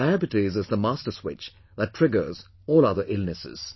Diabetes is the master switch that triggers all other illnesses